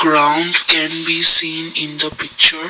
ground can be seen in the picture.